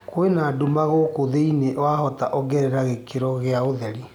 kwĩna ndũma guku thĩĩni wahota ongerera gĩkĩro giaũtherĩ